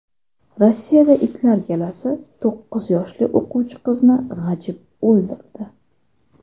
Rossiyada itlar galasi to‘qqiz yoshli o‘quvchi qizni g‘ajib o‘ldirdi.